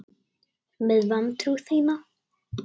Með vantrú þína.